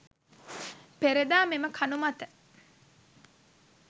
පෙර දා මෙම කණු මත